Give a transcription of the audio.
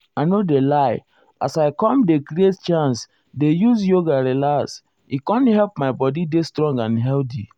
i nor do lie as i com dey create chance dey use yoga relax e com help my body dey strong and healthy.